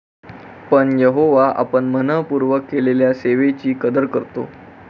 पण, यहोवा आपण मनःपूर्वक केलेल्या सेवेची कदर करतो.